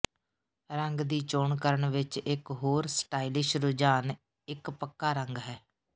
ਰੰਗ ਦੀ ਚੋਣ ਕਰਨ ਵਿਚ ਇਕ ਹੋਰ ਸਟਾਈਲਿਸ਼ ਰੁਝਾਨ ਇੱਕ ਪੱਕਾ ਰੰਗ ਹੈ